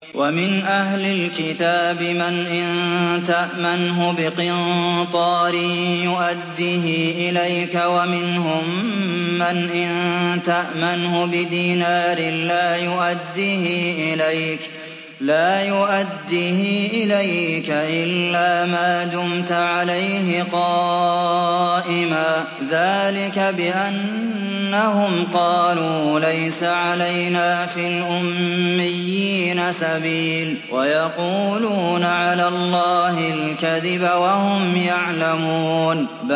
۞ وَمِنْ أَهْلِ الْكِتَابِ مَنْ إِن تَأْمَنْهُ بِقِنطَارٍ يُؤَدِّهِ إِلَيْكَ وَمِنْهُم مَّنْ إِن تَأْمَنْهُ بِدِينَارٍ لَّا يُؤَدِّهِ إِلَيْكَ إِلَّا مَا دُمْتَ عَلَيْهِ قَائِمًا ۗ ذَٰلِكَ بِأَنَّهُمْ قَالُوا لَيْسَ عَلَيْنَا فِي الْأُمِّيِّينَ سَبِيلٌ وَيَقُولُونَ عَلَى اللَّهِ الْكَذِبَ وَهُمْ يَعْلَمُونَ